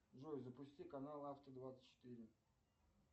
джой запусти канал авто двадцать четыре